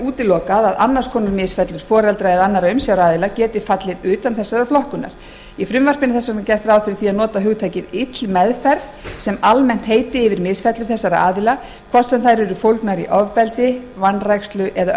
útilokað að annars konar misfellur foreldra eða annarra umsjáraðila geti fallið utan þessarar flokkunar í frumvarpinu er þess vegna gert ráð fyrir að nota hugtakið ill meðferð sem almennt heiti yfir misfellur þessara aðila hvort sem þær eru fólgnar í ofbeldi vanrækslu eða